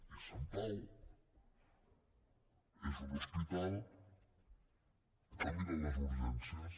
i sant pau és un hospital que mira les urgències